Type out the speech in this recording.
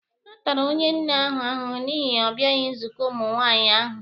A tara onye nne ahụ ahụhụ n'ihi ọ bịaghị nzukọ ụmụ nwaanyị ahụ.